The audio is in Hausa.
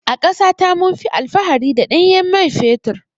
A ƙasa ta munfi alfahari da ɗanyen mai fetur.